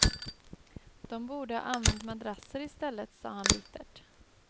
De borde ha använt madrasser i stället, sa han bittert.